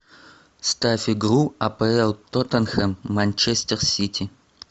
ставь игру апл тоттенхэм манчестер сити